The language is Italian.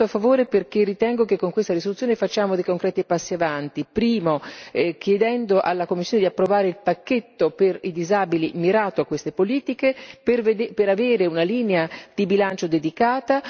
Ho votato a favore perché ritengo che con questa risoluzione facciamo dei concreti passi avanti, innanzitutto chiedendo alla Commissione di approvare il pacchetto per i disabili mirato a queste politiche per avere una linea di bilancio dedicata.